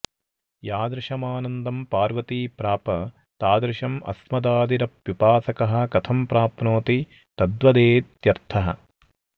यादृशमानन्दं पार्वती प्राप तादृशं अस्मदादिरप्युपासकः कथं प्राप्नोति तद्वदेत्यर्थः